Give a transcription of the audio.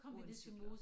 Uden cykler